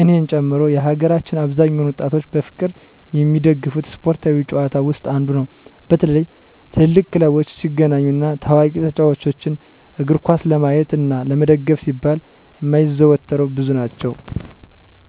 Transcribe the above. እኔን ጨምሮ የሀገራችን አብዛኛውን ወጣቶች በፍቅር የሚደገፉት ስፓርታዊ ጭዋታ ውስጥ አንዱ ነው። በተለይ ትልልቅ ክለቦች ሲገናኙ እና ታዋቂ ተጫዎቾችን እግርኳስ ለማየት እና ለመደገፍ ሲባል የሚያዘወትረው ብዙ ናቸው።